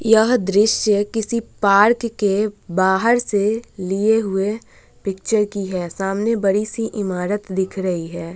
यह दृश्य किसी पार्क के बाहर से लिए हुए पिक्चर की है सामने बड़ी-सी ईमारत दिख रही है ।